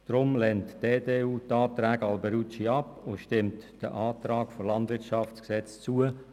Darum lehnt die EDU die Anträge Alberucci ab und stimmt dem Antrag der FiKo zu.